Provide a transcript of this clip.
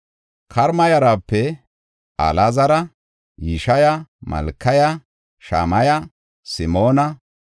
Karima yarape Alaazara, Yisheya, Malkiya, Shamaya, Simoona,